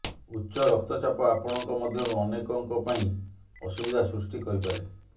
ଉଚ୍ଚ ରକ୍ତଚାପ ଆପଣଙ୍କ ମଧ୍ୟରୁ ଅନେକଙ୍କ ପାଇଁ ଅସୁବିଧା ସୃଷ୍ଟି କରିପାରେ